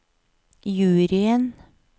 juryen